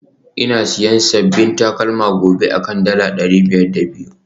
Ina siyan sabbin takalma gobe akan dala dari biyar da biyu